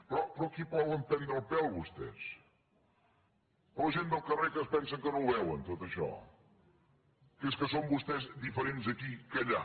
però a qui volen prendre el pèl vostès la gent del carrer que es pensen que no ho veuen tot això que és que són vostès diferents aquí que allà